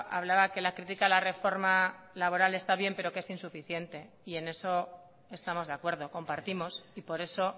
hablaba que la crítica a la reforma laboral está bien pero que es insuficiente y en eso estamos de acuerdo compartimos y por eso